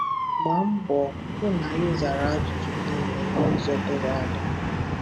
Gbaa mbọ hụ na ị zara ajụjụ niile n'ụzọ doro anya.